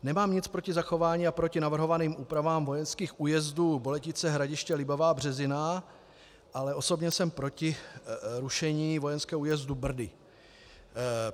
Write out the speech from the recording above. Nemám nic proti zachování a proti navrhovaným úpravám vojenských újezdů Boletice, Hradiště, Libavá, Březina, ale osobně jsem proti rušení vojenského újezdu Brdy.